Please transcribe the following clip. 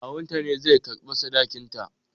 Kawunta ne zai karɓi sadakinta